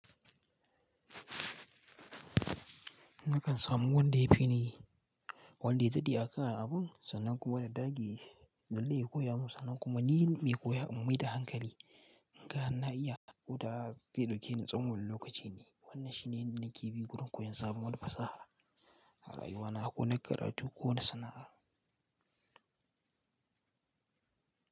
Nakan samu wanda ya fi na yi, wanda ya daɗe a kan abun, sannan kuma na dage na lai-lai ya koya mun sannan kuma ni mai koya in mai da hankali. In ga har na iya, ko da haka ke ɗauke ni tsawon lokaci ne. Wannan shi ne nake bi gurin koyon sabon wata fasaha a rayuwana ko na karatu ko na sana'a.